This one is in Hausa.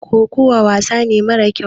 kokowa wasane mara kyau